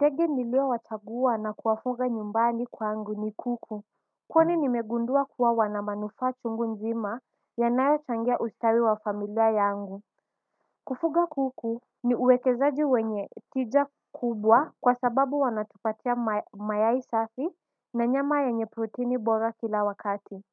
Tegi niliowachaguwa na kuwafuga nyumbani kwangu ni kuku. Kwani nimegundua kuwa wanamanufaa chungu nzima yanayochangia ustawi wa familia yangu. Kufuga kuku ni uwekezaji wenye tija kubwa kwa sababu wanatupatia mayai safi na nyama yenye proteni bora kila wakati.